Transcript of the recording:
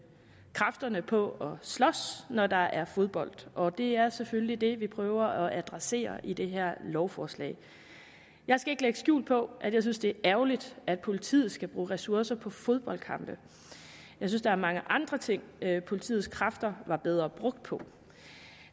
kræfterne på at slås når der er fodbold og det er selvfølgelig det vi prøver at adressere i det her lovforslag jeg skal ikke lægge skjul på at jeg synes det er ærgerligt at politiet skal bruge ressourcer på fodboldkampe jeg synes der er mange andre ting politiets kræfter var bedre brugt på